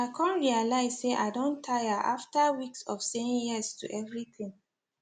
i come realize say i don tire after weeks of saying yes to everything